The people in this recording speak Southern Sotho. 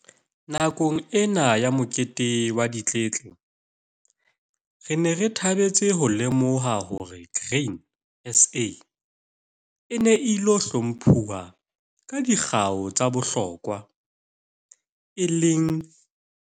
Nakong ena ya mokete wa ditletle re ne re thabetse ho lemoha hore Grain SA e ne e ilo hlomphuwa ka dikgau tsa bohlokwa, e leng.